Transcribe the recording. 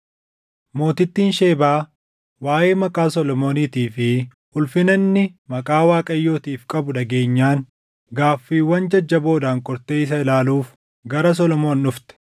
Mootittiin Shebaa waaʼee maqaa Solomooniitii fi ulfina inni maqaa Waaqayyootiif qabuu dhageenyaan gaaffiiwwan jajjaboodhaan qortee isa ilaaluuf gara Solomoon dhufte.